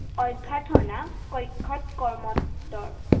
অভ্যৰ্থনা কক্ষত কৰ্মতৰ।